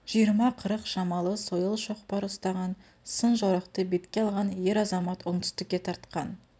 жиыны қырық шамалы сойыл шоқпар ұстаған сын жорықты бетке алған ер-азамат оңтүстікке тартқан